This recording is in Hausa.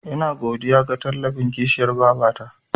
Ina godiya ga tallafin kishiyar babata.